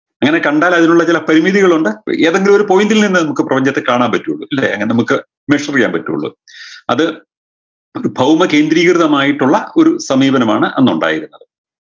അങ്ങനെ കണ്ടാൽ അതിനുള്ള ചില പരിമിതികളുണ്ട് ഏതെങ്കിലു ഒരു point ൽ നിന്നേ നമുക്ക് പ്രപഞ്ചത്തെ കാണാൻ പറ്റുള്ളൂ ഇല്ലേ നമുക്ക് measure യ്യാൻ പറ്റുള്ളൂ അത് ഒരു ഭൗമകേന്ദ്രീകൃതമായിട്ടുള്ള ഒരു സമീപനമാണ് അന്നുണ്ടായിരുന്നത്